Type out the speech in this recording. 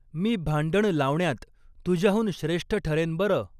मी भांडण लावण्यात, तुझ्याहून श्रेष्ठ ठरेन बर